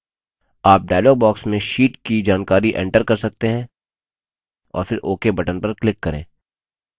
आप dialog box में sheet की जानकारी enter कर सकते हैं और फिर ok button पर click करें